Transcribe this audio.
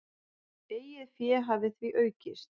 Eigið fé hafi því aukist.